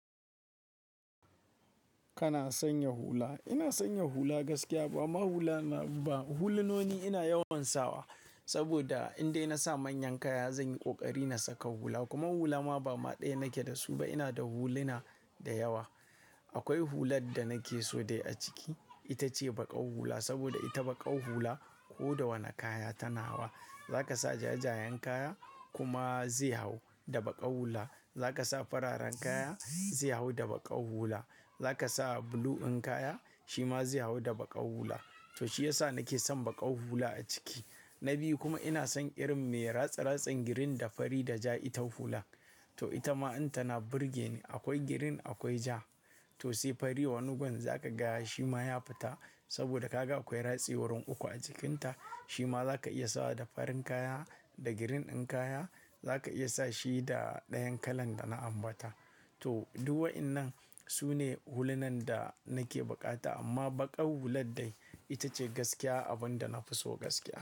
Kana sanya hula? Ina sanya hula gaskiya bama hula na ba hulunoni ina yawan sawa saboda indai na sa manyan kaya zan yi ƙoƙari na saka hula. Kuma hula ma ba ma ɗaya nake da su ba, ina da huluna da yawa. Akwai hular da nake so dai a ciki, ita ce baƙau hula saboda ita baƙau hula ko da wane kaya tana hawa. Za ka sa jajayen kaya kuma zai hau da baƙau hula. Za ka sa fararen kaya zai hau da baƙau hula. Za ka sa blue in kaya shi ma zai hau da baƙau hula. To shi ya sa nake son baƙau hula a ciki. Na biyu kuma ina son irin me ratsa ratsen, girin da fari da ja, ita hula. To ita ma in tana burge ni. Akwai girin, akwai ja to se fari wani gun za ka gaya shi ma ya fita saboda ka ga akwai ratsi wurin uku a jikinta. Shi ma za ka iya sawa da farin kaya da girin in kaya za ka iya sa shi da dayan kalan da na ambata. To duk wa'innan su ne hulunan da nake buƙata amma baƙau hular dai ita ce gaskiya abin da na fi so gaskiya.